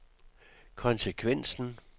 konsekvensen